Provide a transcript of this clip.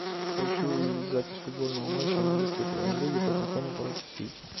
хочу увидеть запись футбольного матча английской премьер лиги тоттенхэма против сити